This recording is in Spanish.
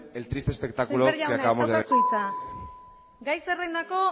el triste espectáculo que acabamos de semper jauna ez daukazu hitza gai zerrendako